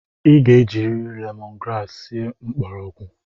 I ga-ejiriri lemon grass sie mgbọrọgwụ!